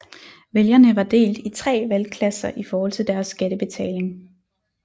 Vælgerne var delt i 3 valgklasser i forhold til deres skattebetaling